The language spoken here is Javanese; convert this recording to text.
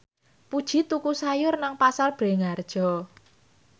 Puji tuku sayur nang Pasar Bringharjo